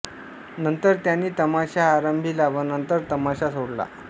नंतर त्यांनीं तमाशा आरंभिला व नंतर तमाशा सोडला